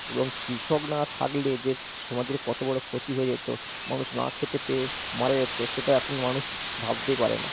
এবং কৃষক না থাকলে যে সমাজের কত বড় ক্ষতি হয়ে যেত, মানুষ না খেতে পেয়ে মারা যেত, সেটা এখন মানুষ ভাবতেই পারে না।